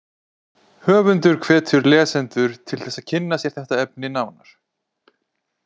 Höfundur hvetur lesendur til þess að kynna sér þetta efni nánar.